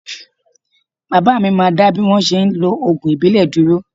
Baba mi máa dá bí wọ́n ṣe ń lo ògùn ìbílẹ̀ dúró